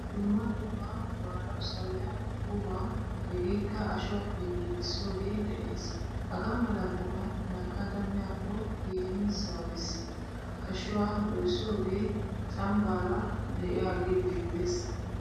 Dumma dumma maanawu sawiya qumma hegekka ashshuwappe giigisoge de'ees. Hagaamala qumay nakkada miyako keehin sawees. Ashshuwa doysoge cambaara deiyage beetees.